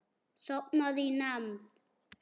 Sofnaði í nefnd.